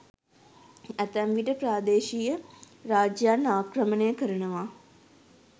ඇතැම් විට ප්‍රාදේශීය රාජ්‍යයන් ආක්‍රමණය කරනවා.